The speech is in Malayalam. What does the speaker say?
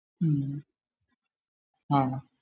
ആഹ്